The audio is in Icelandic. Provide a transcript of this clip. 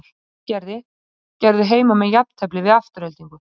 Í Sandgerði gerðu heimamenn jafntefli við Aftureldingu.